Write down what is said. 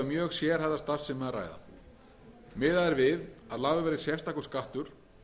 mjög sérhæfða starfsemi að ræða miðað er við að lagður verði sérstakur skattur